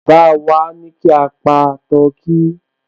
Baba wá ní kí a pa tọkí